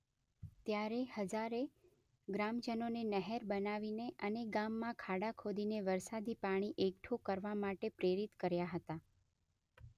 ત્યારે હજારેએ ગ્રામજનોને નહેર બનાવીને અને ગામમાં ખાડા ખોદીને વરસાદી પાણી એકઠું કરવા માટે પ્રેરિત કર્યાં હતાં.